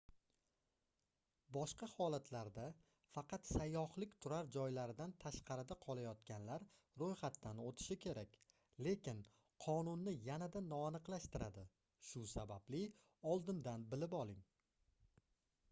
boshqa holatlarda faqat sayyohlik turar joylaridan tashqarida qolayotganlar roʻyxatdan oʻtishi kerak lekin qonunni yanada noaniqlashtiradi shu sababli oldindan bilib oling